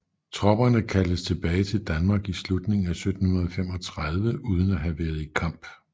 Tropperne kaldtes tilbage til Danmark i slutningen af 1735 uden at have været i kamp